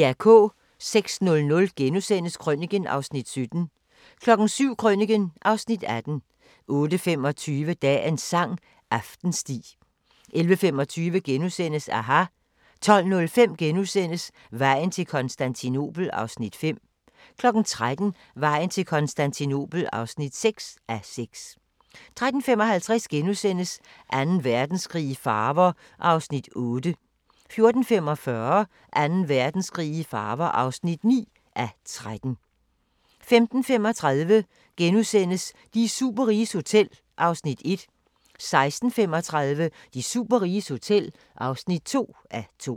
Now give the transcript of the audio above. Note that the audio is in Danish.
06:00: Krøniken (Afs. 17)* 07:00: Krøniken (Afs. 18) 08:25: Dagens sang: Aftensti 11:25: aHA! * 12:05: Vejen til Konstantinopel (5:6)* 13:00: Vejen til Konstantinopel (6:6) 13:55: Anden Verdenskrig i farver (8:13)* 14:45: Anden Verdenskrig i farver (9:13) 15:35: De superriges hotel (1:2)* 16:35: De superriges hotel (2:2)